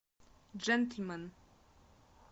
джентльмен